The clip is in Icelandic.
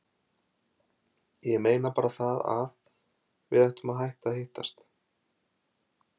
Ég meina bara það að. við ættum að hætta að hittast.